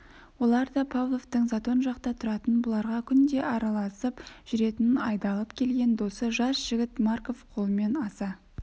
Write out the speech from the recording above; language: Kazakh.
олар да павловтың затон жақта тұратын бұларға күнде араласып жүретін айдалып келген досы жас жігіт марков қолымен аса